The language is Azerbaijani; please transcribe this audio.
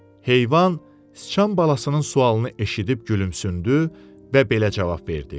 Heyvan sıçan balasının sualını eşidib gülümsündü və belə cavab verdi: